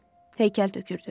Heykəl tökürdü.